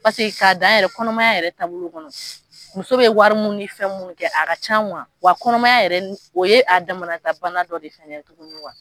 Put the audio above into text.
Paseke k'a dan yɛrɛ kɔnɔmaya yɛrɛ taabolo kɔnɔ, muso bɛ wari mun ni fɛn mun kɛ a ka can wa kɔnɔmaya o ye a damanata bana dɔ de ye fɛnɛ tugunni